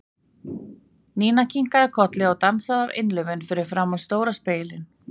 Nína kinkaði kolli og dansaði af innlifun fyrir framan stóran spegil.